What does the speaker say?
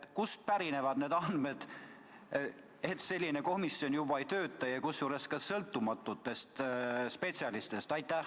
Kust pärinevad need andmed, et selline komisjon juba ei tööta, ja kusjuures ka sõltumatutest spetsialistidest?